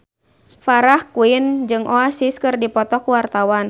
Farah Quinn jeung Oasis keur dipoto ku wartawan